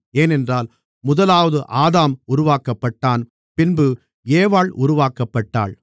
ஏனென்றால் முதலாவது ஆதாம் உருவாக்கப்பட்டான் பின்பு ஏவாள் உருவாக்கப்பட்டாள்